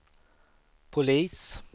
polis